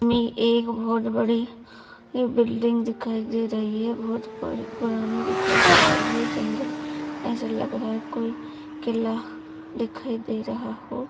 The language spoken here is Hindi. में एक बहुत बड़ी बिल्डिंग दिखाई दे रही है बहुत पुर पुरानी दिखाई दे रही है जंगल में ऐसा लग रहा कोई किला दिखायी दे रहा हो।